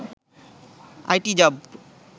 IT job